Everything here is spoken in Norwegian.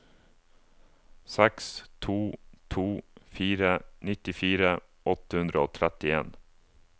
seks to to fire nittifire åtte hundre og trettien